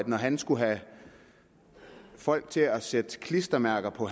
når han skulle have folk til at sætte klistermærker på